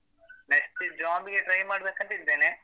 Next job ಗೆ try ಮಾಡ್ಬೇಕಂತ ಇದ್ದೇನೆ.